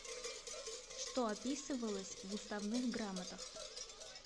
что описывалось в уставных грамотах